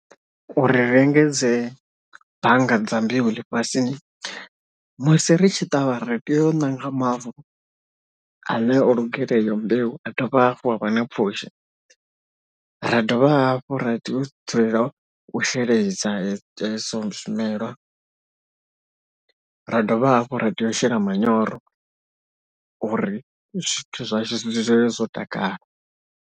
U ri ri engedze bannga dza mbeu ḽifhasini musi ri tshi ṱavha, ri tea u ṋanga mavu ane o lugela iyo mbeu a dovha hafhu ha vha na pfhushi, ra dovha hafhu ra tea u dzulela u sheledza izwo zwimelwa, ra dovha hafhu ra tea u shela manyoro uri zwithu zwashu zwi dzule zwo takala.